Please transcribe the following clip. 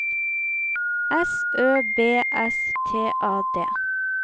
S Ø B S T A D